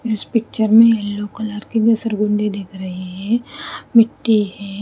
इस पिक्चर में yellow colour के भी सरगुंडे दिख रहे हैं मिट्टी है।